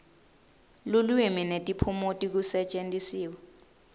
lulwimi netiphumuti kusetjentiswe